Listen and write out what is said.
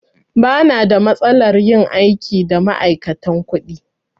Ba na da matsalar yin aiki da ma'aikatan kuɗi.